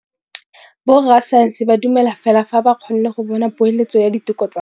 Borra saense ba dumela fela fa ba kgonne go bona poeletsô ya diteko tsa bone.